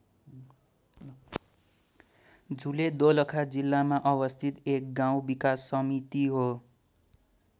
झुले दोलखा जिल्लामा अवस्थित एक गाउँ विकास समिति हो।